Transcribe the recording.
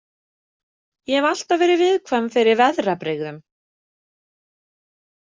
Ég hef alltaf verið viðkvæm fyrir veðrabrigðum.